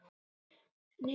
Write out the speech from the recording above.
Er boltinn ekki þarna?